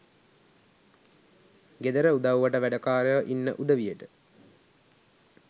ගෙදර උදව්වට වැඩකාරයෝ ඉන්න උදවියට